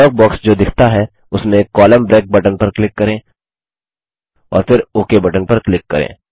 dialogue box जो दिखता है उसमें कोलम्न ब्रेक बटन पर क्लिक करें और फिर ओक बटन पर क्लिक करें